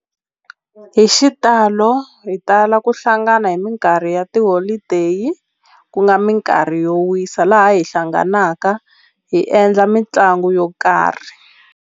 Hi xitalo hi tala ku hlangana hi minkarhi ya tiholodeyi ku nga minkarhi yo wisa laha hi hlanganaka hi endla mitlangu yo karhi.